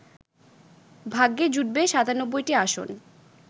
ভাগ্যে জুটবে ৯৭টি আসন